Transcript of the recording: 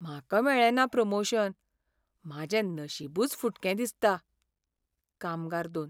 म्हाका मेळ्ळेंना प्रमोशन. म्हाजें नशीबूच फुटकें दिसता. कामगार दोन